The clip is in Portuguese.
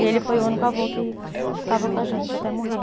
E ele foi o único avô que estava com a gente, até morrer.